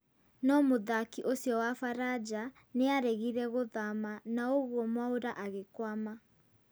No mũthaki ũcio wa faraja nĩaregire gũthama naũguo Mwaũra agĩkwama